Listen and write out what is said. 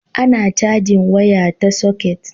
a na cajin waya ta soket